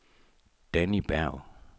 Danni Berg